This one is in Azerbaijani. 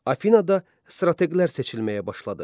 Afinada strateqlər seçilməyə başladı.